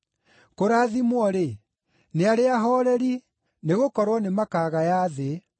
Kũrathimwo-rĩ, nĩ arĩa ahooreri, nĩgũkorwo nĩmakagaya thĩ.